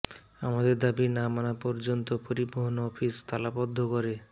আমাদের দাবি না মানা পর্যন্ত পরিবহন অফিস তালাবদ্ধ করে